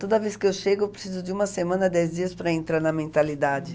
Toda vez que eu chego, eu preciso de uma semana, dez dias para entrar na mentalidade.